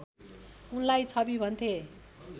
उनलाई छवि भन्थे